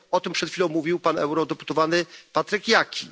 O tym przed chwilą mówił pan eurodeputowany Patryk Jaki.